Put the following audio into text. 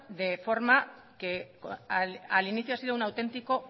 de forma que al inicio ha sido un auténtico